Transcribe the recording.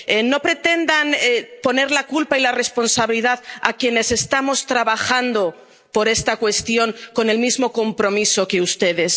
No pretendan poner la culpa y la responsabilidad en quienes estamos trabajando por esta cuestión con el mismo compromiso que ustedes.